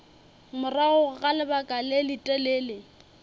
morago ga lebaka le letelele